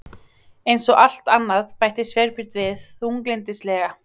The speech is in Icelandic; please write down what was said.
Eins og allt annað- bætti Sveinbjörn við þunglyndislega.